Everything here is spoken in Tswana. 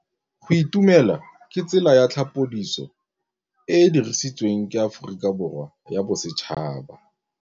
Go itumela ke tsela ya tlhapolisô e e dirisitsweng ke Aforika Borwa ya Bosetšhaba.